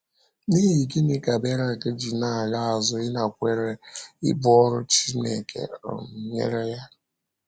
N’ihi gịnị ka Berak ji na - ala azụ ịnakwere ibu ọrụ Chineke um nyere ya?